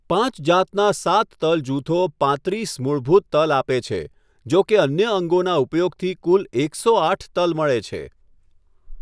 પાંચ જાતના સાત તલ જૂથો પાંત્રીસ મૂળભૂત તલ આપે છે, જો કે અન્ય અંગોના ઉપયોગથી કુલ એકસો આઠ તલ મળે છે.